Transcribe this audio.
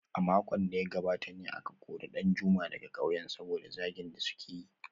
A makon da ya gabata ne aka kori Danjuma daga kauyen saboda zagin da suka yi